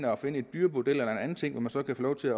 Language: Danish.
og finde et dyrebordel eller en anden ting hvor man så kan få lov til